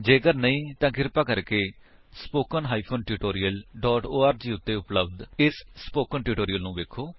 ਜੇਕਰ ਨਹੀਂ ਕ੍ਰਿਪਾ ਕਰਕੇ spoken hyphen tutorial dot org ਉੱਤੇ ਉਪਲੱਬਧ ਇਸ ਸਪੋਕਨ ਟਿਊਟੋਰਿਅਲ ਨੂੰ ਵੇਖੋ